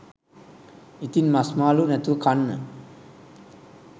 ඉතින් මස් මාළු නැතුව කන්න